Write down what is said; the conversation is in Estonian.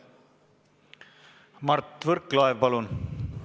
Mart Võrklaev, palun!